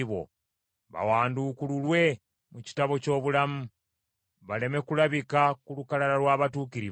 Bawanduukululwe mu kitabo ky’obulamu; baleme kulabika ku lukalala lw’abatuukirivu.